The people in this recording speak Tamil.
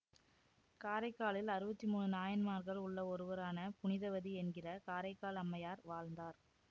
காரைக்காலில் அறுவத்தி மூனு நாயன்மார்கள் உள்ள ஒருவரான புனிதவதி என்கிற காரைக்கால் அம்மையார் வாழ்ந்தார்